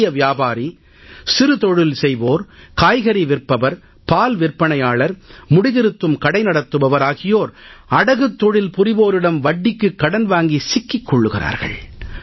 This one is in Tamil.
சிறிய வியாபாரி சிறுதொழில் செய்வோர் காய்கறி விற்பவர் பால் விற்பனையாளர் முடிதிருத்தும் கடை நடத்துபவர் ஆகியோர் அடகுத் தொழில் புரிவோரிடம் வட்டிக்குக் கடன் வாங்கி சிக்கிக் கொள்கிறார்கள்